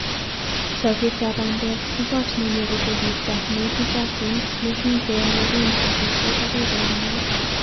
choogetap bandek ko koot ne nyoru koristow ni ititaatin ne kigenoreen talbisyek agoi koyamaat.